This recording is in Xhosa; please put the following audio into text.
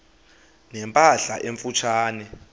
ne mpahla emfutshane